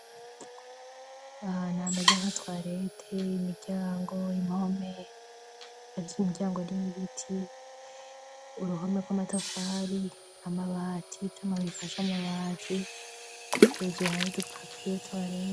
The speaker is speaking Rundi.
Ahantu hameze nka twareti imiryango impome ariko imiryango n'iyibiti uruhome rw'amatafari amabati r'amabifasha amabati hejuru hadupapiye twalete.